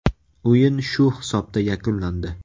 O‘yin shu hisobda yakunlandi.